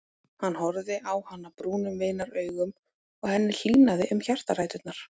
Hann horfði á hana brúnum vinaraugum og henni hlýnaði um hjartaræturnar.